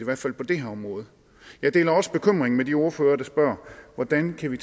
hvert fald på det her område jeg deler også bekymringen med de ordførere der spørger hvordan kan vi